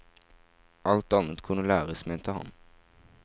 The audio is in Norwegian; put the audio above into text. Alt annet kunne læres, mente han.